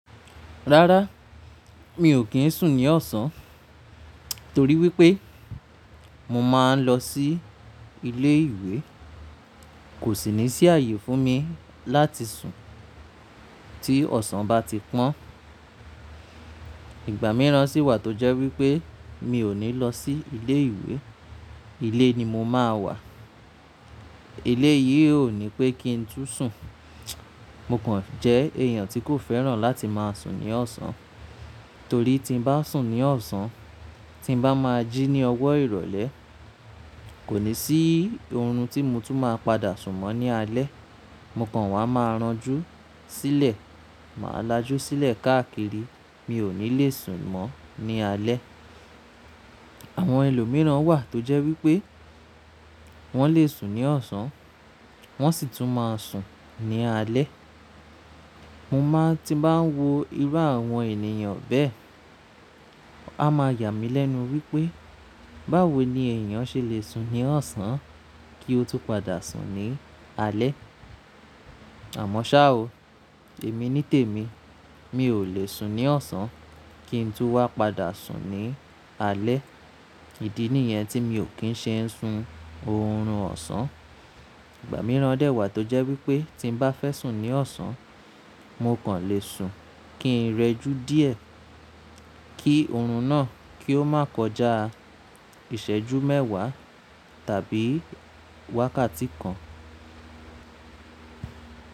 Rárá, mi ò kí ń sùn ní ọ̀sán torí wípé mo máa ń lọ sí ilé ìwé. Kò sì ní sí ààyè fún mi láti sùn tí ọ̀sán bá ti pọ́n. Ìgbà míràn sì wà tó jẹ́ wípé mi ò ní lọ sí ilé ìwé, ilé ni mo máa wà. Eléyìí ò ní pé kí ń tún sùn. Mo kàn jẹ́ èèyàn tí kò fẹ́ràn láti máa sùn ní ọ̀sán torí tí ń bá sùn ní ọ̀sán, tí ń bá máa jí ní ọwọ́ ìrọ̀lẹ́, kò ní sí oorun tí mo tún máa padà sùn mọ́ ní alẹ́. Mo kàn wà máa ránjú sílẹ̀. Màá lajú sílẹ̀ káàkiri. Mi ò ní le sùn mọ́ ní alẹ́. Àwọn ẹlòmíràn wà tó jẹ́ wípé wọ́n le sùn ní ọ̀sán, wọ́n sì tún máa sùn ní alẹ́. Mo máa ti bá ń wo irú àwọn ènìyàn bẹ́ẹ̀, a máa yà mí lẹ́nu wípé, báwo ni èèyàn ṣe le sùn ní ọ̀sán kí ó tún padà sùn ní alẹ́? Àmọ́ ṣa o, èmi nítèmi, mi ò le sùn ní ọ̀sán kí ń tún wá padà sùn ní alẹ́. Ìdí nìyẹn tí mi ò kín ṣe ń sun oorun ọ̀sán. Ìgbà míràn dè wà tó jẹ́ wípé tí ń bá fẹ́ sùn ní ọ̀sán, mo kàn le sùn kin rẹjú díẹ̀ kí oorun náà kí ó má kọjá ìṣẹ́jú mẹ́wàá tàbí wákàtí kan.